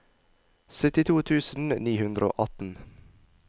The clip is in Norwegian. syttito tusen ni hundre og atten